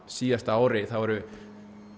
síðasta ári þá eru